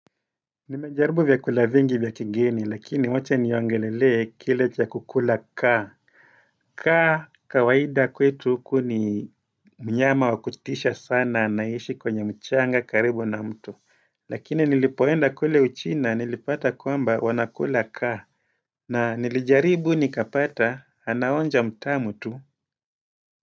Nimejaribu vyakula vingi vya kigeni lakini wacha niongelelee kile cha kukula kaa kaa kawaida kwetu huku ni mnyama wa kutisha sana anaishi kwenye mchanga karibu na mtu Lakini nilipoenda kule uchina nilipata kwamba wanakula kaa na nilijaribu nikapata anaonja mtamu tu.